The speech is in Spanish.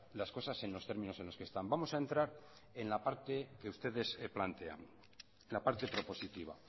las cosas en los términos en los que están vamos a entrar en la parte que ustedes plantean la parte propositiva